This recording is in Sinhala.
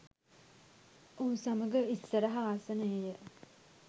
ඔහු සමග ඉස්සරහ ආසනයේය.